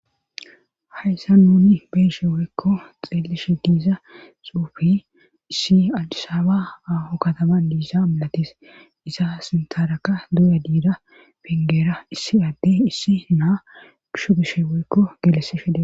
hayssa nuni beeshe woykko xeelishe diiza suufi issi alisaaba aaho katama diisa milatis isa sintaraka duuya diida pingeera issi adde issi naa gushu gishe woykko gelese shede.